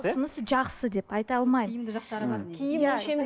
ұсынысы жақсы деп айта алмаймын тиімді жақтары бар